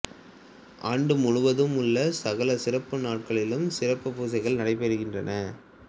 ஆண்டுமுழுவதும் உள்ள சகல சிறப்பு நாட்களிலும் சிறப்புப் பூசைகள் நடைபெறுகின்றன